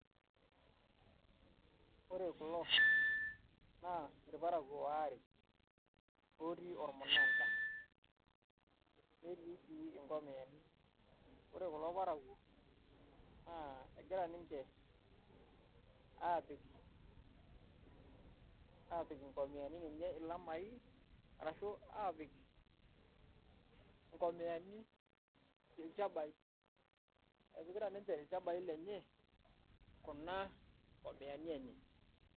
Ore kulo naa irparakuo aare otii ormun`da , netii sii nkomiyani . Ore kulo parakuo naa egira ninche apik nkomiyani enye ilamai ashu apik nkomiyani ilchabai. Epikita ninche ilchabai lenye kuna komiyani enye.